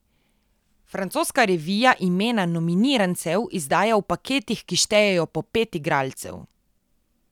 Francoska revija imena nominirancev izdaja v paketih, ki štejejo po pet igralcev.